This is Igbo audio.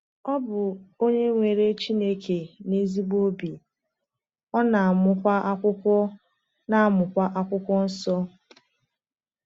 Ọ bụ onye kwere Chineke n’ezigbo obi, ọ na-amụkwa Akwụkwọ na-amụkwa Akwụkwọ Nsọ.